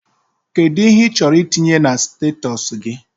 Kedụ ihe ị chọrọ itinye na statọsi gị?